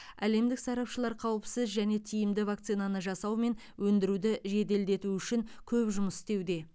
әлемдік сарапшылар қауіпсіз және тиімді вакцинаны жасау мен өндіруді жеделдету үшін көп жұмыс істеуде